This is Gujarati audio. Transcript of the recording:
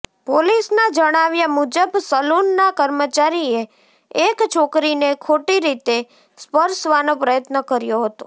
પોલિસના જણાવ્યા મુજબ સલૂનના કર્મચારીએ એક છોકરીને ખોટી રીતે સ્પર્શવાનો પ્રયત્ન કર્યો હતો